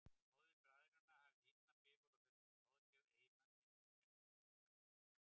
Móðir bræðranna hafði illan bifur á þessari ráðagerð eiginmanns síns og mótmælti.